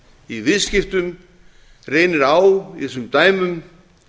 í viðskiptum reynir á í þessum dæmum